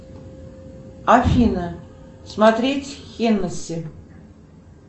афина смотреть хеннеси